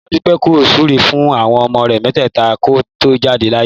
Ìyá Dúpẹ́ kò súre fún àwọn ọmọ rẹ̀ mẹ́tẹ̀ẹ̀ta kó tó jáde láyé